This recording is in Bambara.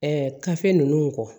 kafe ninnu kɔ